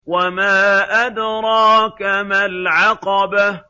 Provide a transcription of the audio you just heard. وَمَا أَدْرَاكَ مَا الْعَقَبَةُ